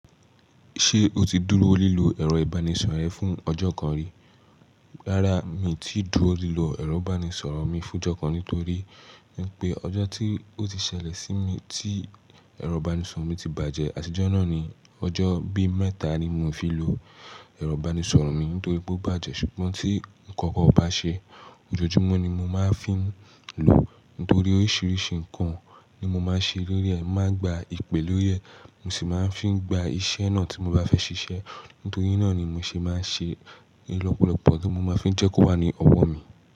Ṣé o ti dúró lílo ẹ̀rọ ìbánisọ̀rọ̀ ẹ fún ọjọ́ kan rí? Rárá mi ti dúró lílọ ẹ̀rọ ìbánisọ̀rọ̀ mi fún ọjọ́ kan nítorí wípé ọjọ́ tí ó ti ṣẹlẹ̀ sí mi tí ẹ̀rọ ìbánisọ̀rọ̀ mi ti bàjẹ́, àtijo náà ni ọjọ́ bí mẹ́ta ni mo fi lò ẹ̀rọ ìbánisọ̀rọ̀ mi nítorí pé ó bàjẹ́ ṣùgbọ́n tí ǹkan kan o bá ṣe ojoojúmọ́ ni mo máa ń fi ń lò nítorí oríṣiríṣi ǹkan ni mo máa ń ṣe lórí ẹ̀, màá gba ìpè lórí ẹ̀, mo sì máa ń fi gba iṣẹ́ náà tí mo bá fẹ́ ṣiṣẹ́. Nítorí náà ni mo ṣe máa ń ṣe rí lọ́pọ̀lọpọ̀ kí n máa fi ń jẹ́ kó wà ní ọwọ́ mi.